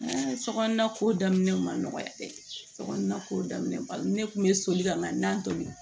Sokɔnɔna ko daminɛ ma dɛ sokɔnɔna ko daminɛ bali ne kun be soli ka na n'a tobi